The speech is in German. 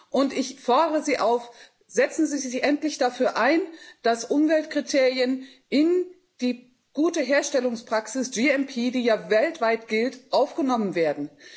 Und ich fordere Sie auf, setzen Sie sich endlich dafür ein, dass Umweltkriterien in die Gute Herstellungspraxis die ja weltweit gilt, aufgenommen werden.